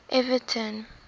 everton